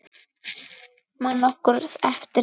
Man nokkur eftir því lengur?